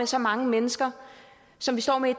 så mange mennesker som står i